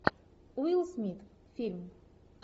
уилл смит фильм